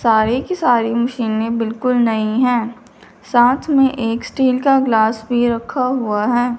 सारी की सारी मशीने बिल्कुल नईं हैं साथ में एक स्टील का ग्लास भी रखा हुआ हैं।